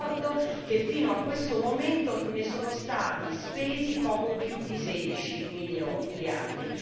Ricordo che fino a questo momento ne sono stati spesi poco più di 16 miliardi.